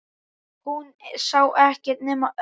Hún sá ekkert nema Örn.